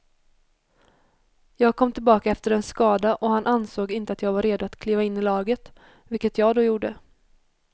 Jag kom tillbaka efter en skada och han ansåg inte att jag var redo att kliva in i laget, vilket jag då gjorde.